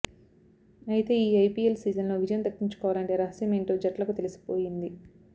అయితే ఈ ఐపీఎల్ సీజన్లో విజయం దక్కించుకోవాలంటే రహస్యమేంటో జట్లకు తెలిసిపోయింది